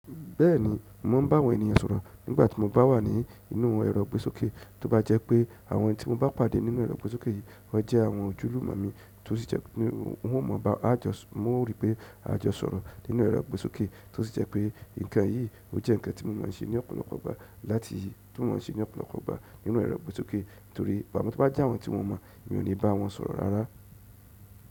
Bẹ́ẹ̀ni, mò ń bá àwọn ènìyàn sọ̀rọ̀ nígbà tí mo bá wà ní inú ẹrọ́ igbé sókè, tó bá jẹ́ pé àwọn tí mo bá pàdé nínú ẹrọ́ igbé sókè yìí wọ́n jẹ́ àwọn òjúlúmo mi, wọn o rí pé a jọ sọ̀rọ̀ nínú ẹrọ́ igbé sókè, tó sì jẹ́ pé ǹkan yìí o jẹ́ ǹkan tí mo mọ̀ ń ṣe ní ọ̀pọ̀lọpọ̀ ìgbà nínú ẹrọ́ igbé sókè, amo to bá jẹ́ àwọn tí mo mọ̀, mi ò ní bá wọn sọ̀rọ̀ rárá.